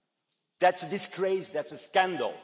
It is a disgrace, it is a scandal.